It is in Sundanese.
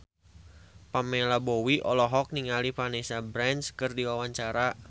Pamela Bowie olohok ningali Vanessa Branch keur diwawancara